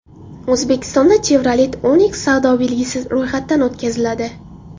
O‘zbekistonda Chevrolet Onix savdo belgisi ro‘yxatdan o‘tkaziladi.